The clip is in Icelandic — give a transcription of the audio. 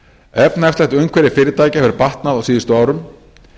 efnahagslegt umhverfi fyrirtækja hefur batnað á síðustu árum